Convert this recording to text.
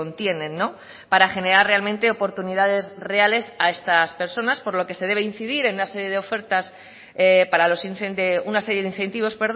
tienen para generar realmente oportunidades reales a estas personas por lo que se debe incidir en una serie de incentivos